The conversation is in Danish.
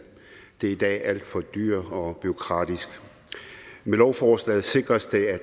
det er i dag alt for dyrt og bureaukratisk med lovforslaget sikres det at